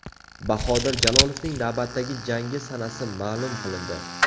Bahodir Jalolovning navbatdagi jangi sanasi ma’lum qilindi.